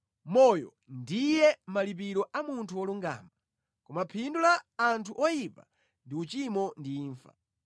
Moyo ndiye malipiro a munthu wolungama, koma phindu la anthu oyipa ndi uchimo ndi imfa.